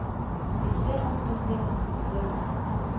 bestemmer bestemmer bestemmer